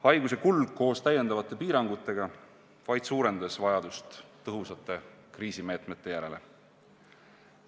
Pandeemia kulg koos täiendavate piirangutega suurendas kiiresti vajadust tõhusate kriisimeetmete järele.